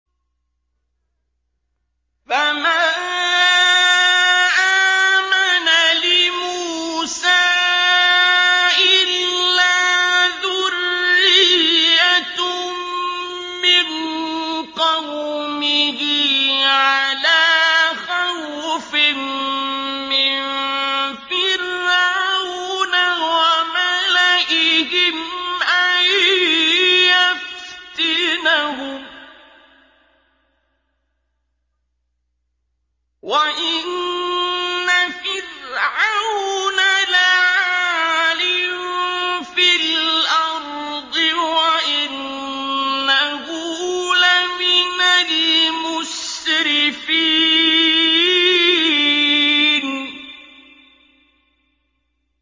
فَمَا آمَنَ لِمُوسَىٰ إِلَّا ذُرِّيَّةٌ مِّن قَوْمِهِ عَلَىٰ خَوْفٍ مِّن فِرْعَوْنَ وَمَلَئِهِمْ أَن يَفْتِنَهُمْ ۚ وَإِنَّ فِرْعَوْنَ لَعَالٍ فِي الْأَرْضِ وَإِنَّهُ لَمِنَ الْمُسْرِفِينَ